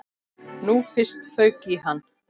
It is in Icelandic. Nú fyrst fauk í hann.